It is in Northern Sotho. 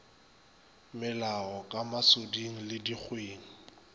melago ka masoding le dikgweng